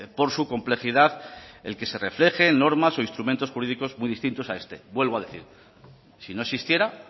por su complejidad el que se reflejen normas o instrumentos jurídicos muy distintos a este vuelvo a decir si no existiera